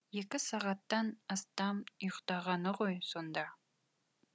екі сағаттан астам ұйықтағаны ғой сонда